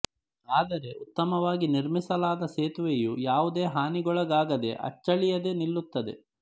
ಆದರೆ ಉತ್ತಮವಾಗಿ ನಿರ್ಮಿಸಲಾದ ಸೇತುವೆಯು ಯಾವುದೇ ಹಾನಿಗೊಳಗಾಗದೆ ಅಚ್ಚಳಿಯದೆ ನಿಲ್ಲುತ್ತದೆ